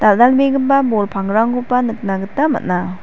dal·dalbegipa bol pangrangkoba nikna gita man·a.